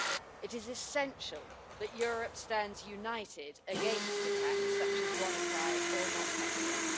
It is essential that Europe stand united against attacks such as WannaCry and NotPetya.